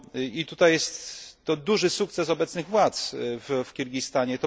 I tutaj jest to duży sukces obecnych władz w Kirgistanie.